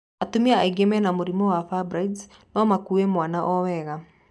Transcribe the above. Atumia aingĩ mena mũrimũ wa fibroid no makue mwana owega.